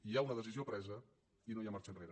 hi ha una decisió presa i no hi ha marxa enrere